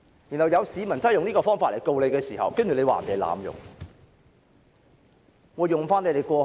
如果有市民真的用這個方法去控告她時，又會被指是濫用制度。